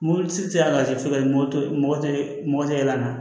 Mobilitigi y'a lajɛ fo moto mɔgɔ tɛ mɔgɔ tɛ yɛlɛ an na